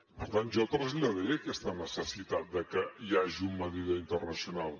per tant jo traslladaré aquesta necessitat que hi hagi un mediador internacional